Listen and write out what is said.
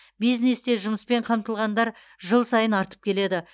бизнесте жұмыспен қамтылғандар жыл сайын артып келеді